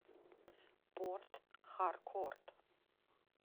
порт харкорт